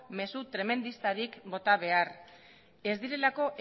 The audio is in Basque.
mezu tremendistarik bota behar ez direlako